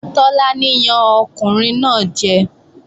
Tọ́lání yan ọkùnrin náà jẹ